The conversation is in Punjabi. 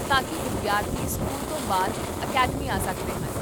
ਤਾਂ ਕੀ ਵਿਦਿਆਰਥੀ ਸਕੂਲ ਤੋਂ ਬਾਅਦ ਅਕੈਡਮੀ ਆ ਸਕਦੇ ਹਨ?